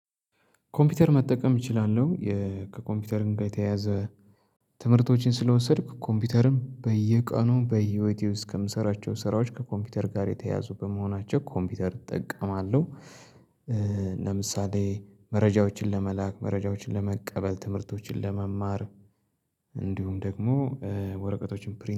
ኮምፒውተር መጠቀም እችላለሁ። ከኮምፒውተር ጋር የተያያዘ ትምህርቶችን ስለወሰድክ ኮምፒውተርም በየቀኑ በህይወቴ ውስጥ ከምሰራቸው ስራዎች ከኮምፒውተር ጋር የተያዙ በመሆናቸው ኮምፒውተር እጠቀማለሁ። ለምሳሌ መረጃዎችን ለመላክ መረጃዎችን ለመቀበል ትምህርቶችን ለመማር። እንዲሁም ደግሞ ወረቀቶችን ፕሪንት